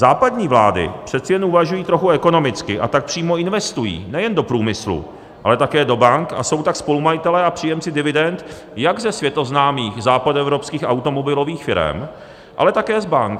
Západní vlády přece jen uvažují trochu ekonomicky, a tak přímo investují nejen do průmyslu, ale také do bank a jsou tak spolumajiteli a příjemci dividend jak ze světoznámých západoevropských automobilových firem, ale také z bank.